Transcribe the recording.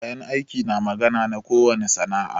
Kayan aiki na magana na ko wani sana'a.